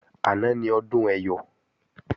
Àná ni Ọdún Ẹyọ̀